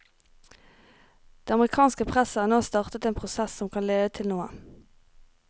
Det amerikanske presset har nå startet en prosess som kan lede til noe.